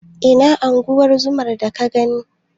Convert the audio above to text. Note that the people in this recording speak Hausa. Ina unguwar zomar da ka gani?